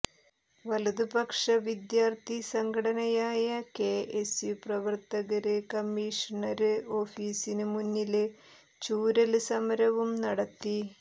വലതുപക്ഷ വിദ്യാര്ത്ഥി സംഘടനയായ കഎസ്യു പ്രവര്ത്തകര് കമ്മീഷണര് ഓഫീസിന് മുന്നില് ചൂരല് സമരവും നടത്തി